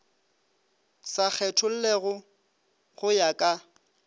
sa kgethollego go ya ka